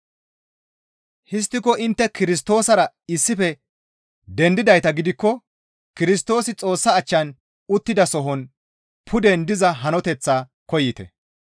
Histtiko intte Kirstoosara issife dendidayta gidikko Kirstoosi Xoossa achchan uttidasohon puden diza hanoteththaa koyite.